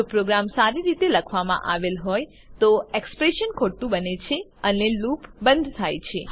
જો પ્રોગ્રામ સારી રીતે લખવામાં આવેલ હોય તો એક્ષપ્રેશન ખોટું બને છે અને લૂપ બંધ થાય છે